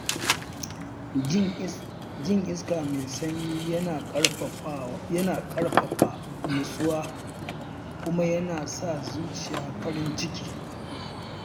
Jin iska mai sanyi yana ƙarfafa nutsuwa kuma yana sa zuciya farin ciki.